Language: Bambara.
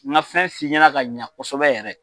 N ka fɛn f'i ɲɛna ka ɲa kosɛbɛ yɛrɛ.